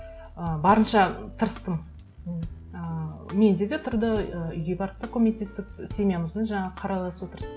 ы барынша тырыстым ыыы менде де тұрды ы үйге барып та көмектестік семьямыздың жаңағы қаралас отырыс